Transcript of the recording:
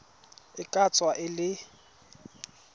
e ka tswa e le